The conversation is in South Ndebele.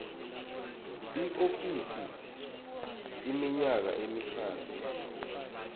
iofisi iminyaka emihlanu